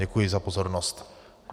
Děkuji za pozornost.